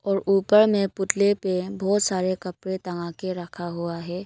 और ऊपर में पुतले पे बहुत सारे कपड़े टंगा के रखा हुआ है।